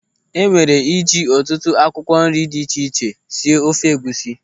E nwere iji ọtụtụ akwụkwọ nri dị iche iche sie ofe egwusi.